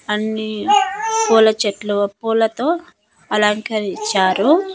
అన్నీ పూల చెట్లు పూలతో అలంకరిచ్చారు.